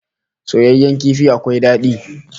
Soyayyen kifi akwai dadi